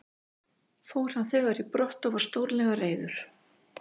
Fór hann þegar í brott og var stórlega reiður.